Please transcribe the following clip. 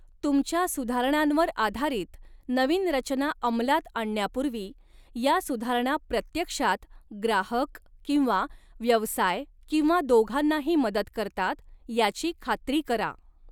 तुमच्या सुधारणांवर आधारित नवीन रचना अंमलात आणण्यापूर्वी, या सुधारणा प्रत्यक्षात ग्राहक किंवा व्यवसाय किंवा दोघांनाही मदत करतात याची खात्री करा.